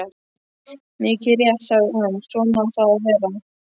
Mikið rétt, sagði hann, svona á það að vera.